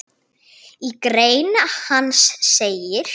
Í grein hans segir